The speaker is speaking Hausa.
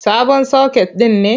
Sabon soket ɗin ne.